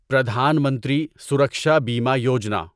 Pradhan Mantri Suraksha Bima Yojana